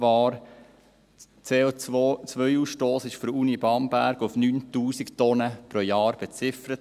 Der CO-Ausstoss wurde von der Universität Bamberg auf 9000 Tonnen pro Jahr beziffert.